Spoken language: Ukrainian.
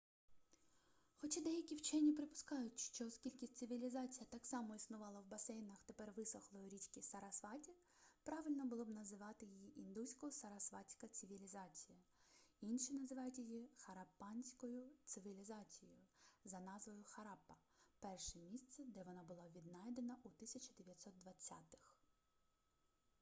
хоча деякі вчені припускають що оскільки цивілізація так само існувала в басейнах тепер висохлої річки сарасваті правильно було б називати її індусько-сарасватська цивілізація інші називають її хараппанською цивілізацією за назвою хараппа перше місце де вона була віднайдена у 1920-их